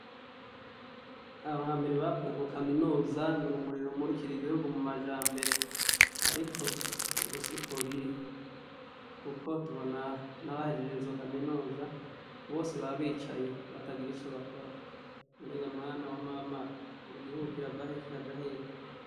Aho hambere bavuga ngo kaminuza n'urumuri rumurikira igihugu mumajambere ariko ubu siko biri, kuko tubona nabahejeje izo kaminuza bicaye batagira ico bakora, none ga mwana wa mama igihugu kiravahe kikaja hehe?